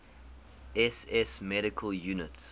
ss medical units